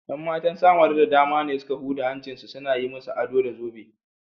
’Yan matan Samaru da dama ne suka huda hancinsu suna yi musu ado da zobe.